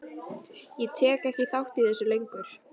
Ég tek ekki þátt í þessu lengur.